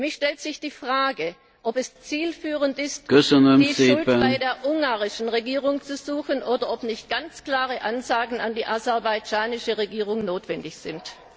Für mich stellt sich die Frage, ob es zielführend ist, die Schuld bei der ungarischen Regierung zu suchen oder ob nicht ganz klare Ansagen an die aserbaidschanische Regierung notwendig sind.